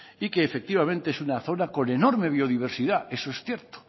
y que efectivamente es una zona con enorme biodiversidad eso es cierto